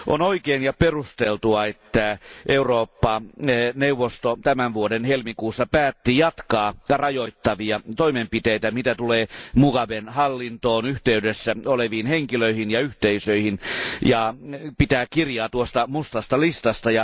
On oikein ja perusteltua, että Eurooppa neuvosto tämän vuoden helmikuussa päätti jatkaa rajoittavia toimenpiteitä, mitä tulee Mugaben hallintoon yhteydessä oleviin henkilöihin ja yhteisöihin, ja pitää kirjaa tuosta mustasta listasta.